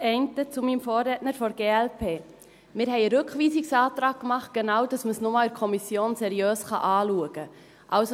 Die eine zu meinem Vorredner der glp: Wir haben einen Rückweisungsantrag gestellt, damit man es genau in der Kommission noch einmal seriös anschauen kann.